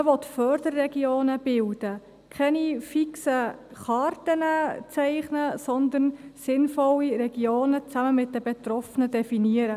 Man will Förderregionen bilden, keine fixen Karten zeichnen, sondern sinnvolle Regionen zusammen mit den Betroffenen definieren.